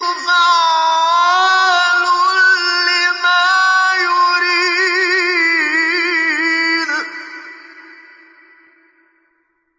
فَعَّالٌ لِّمَا يُرِيدُ